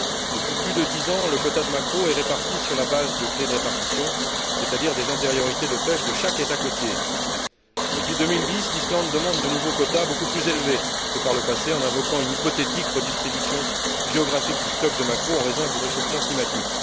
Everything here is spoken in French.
Depuis plus de dix ans, le quota de maquereaux est réparti sur la base de clés de répartition, c'est à dire des antériorités de pêche de chaque État côtier. Depuis 2010, l'Islande demande de nouveaux quotas, beaucoup plus élevés que par le passé, en invoquant une hypothétique redistribution géographique du stock de maquereaux en raison du réchauffement climatique.